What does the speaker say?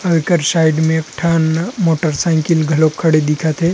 और एकर साइड में एक ठन मोटर साइकिल घलोक खड़े दिखत हे।